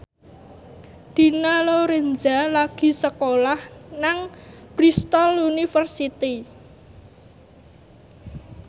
Dina Lorenza lagi sekolah nang Bristol university